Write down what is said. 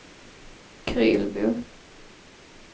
Krylbo